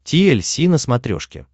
ти эль си на смотрешке